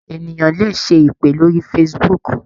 Ènìyàn le ṣe ìpè lórí Facebook.